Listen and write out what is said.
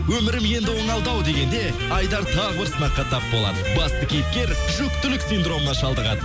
өмірім енді оңалды ау дегенде айдар тағы бір сынаққа тап болады басты кейіпкер жүкітілік синдромына шалдығады